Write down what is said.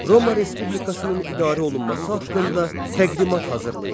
Roma Respublikasının idarə olunması haqqında təqdimat hazırlayın.